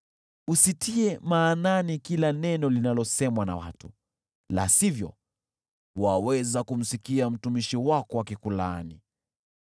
Usitie maanani kila neno linalosemwa na watu, la sivyo, waweza kumsikia mtumishi wako akikulaani: